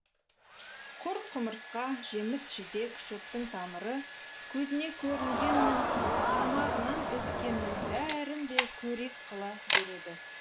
құрт құмырсқа жеміс жидек шөптің тамыры көзіне көрінгеннің тамағынан өткеннің бәрін де қорек қыла береді